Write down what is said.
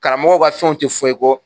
Karamɔgɔw ka fɛnw te fɔn i kɔ